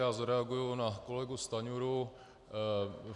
Já zareaguji na kolegu Stanjuru.